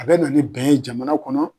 A bɛ na ni bɛn ye jamana kɔnɔ.